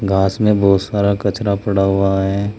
घास में बहुत सारा कचरा पड़ा हुआ है।